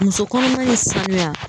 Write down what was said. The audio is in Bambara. Muso kɔnɔma ni sanuya